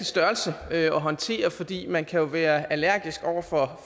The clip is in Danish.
størrelse at håndtere fordi man kan være allergisk over for